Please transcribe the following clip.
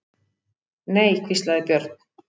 Nei, hvíslaði Björn.